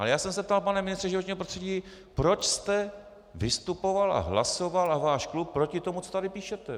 Ale já jsem se ptal, pane ministře životního prostředí, proč jste vystupoval a hlasoval, a váš klub, proti tomu, co tady píšete.